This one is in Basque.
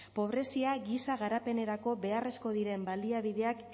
pobrezia giza garapenerako beharrezkoak diren baliabideak